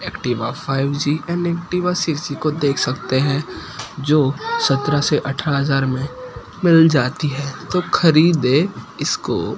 Activa five G and Activa six G को देख सकते हैं जो सत्रह से अठारह हजार में मिल जाती है तो खरीदें इसको।